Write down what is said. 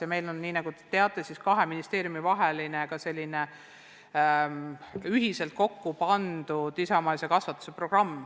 Samuti on meil, nagu te teate, kahes ministeeriumis ühiselt kokku pandud isamaalise kasvatuse programm.